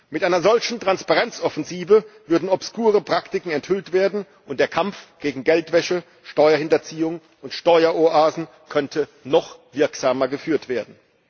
Mit einer solchen Transparenzoffensive würden obskure Praktiken enthüllt werden, und der Kampf gegen Geldwäsche, Steuerhinterziehung und Steueroasen könnte noch wirksamer geführt werden.